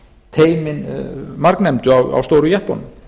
teymin margnefndu á stóru jeppunum